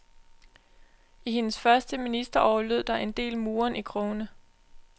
I hendes første ministerår lød der en del murren i krogene.